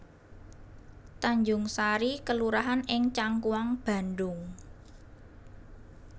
Tanjungsari kelurahan ing Cangkuang Bandhung